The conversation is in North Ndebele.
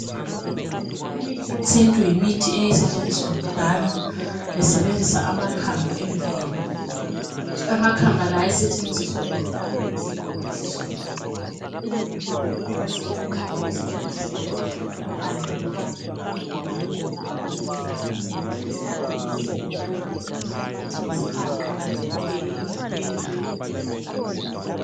Imithi yesintu yimithi eyayisetshenziswa kudala. Besebenzisa amakhamba emvelo. Amakhamba la ayesetshenziswa ukulapha iszifo ezitshiyeneyo. Izihlahla ezazisetshenziswa, kwakusetshenziswa impande loba amahlamvu ukwelapha. Izihlahla lezi zigoqela isihaqa, imthwentwe.